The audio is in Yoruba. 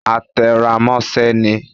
A te rá mosẹ ní